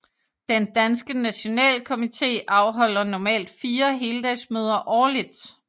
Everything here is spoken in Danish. Den danske nationalkomitee afholder normalt 4 heldagsmøder årligt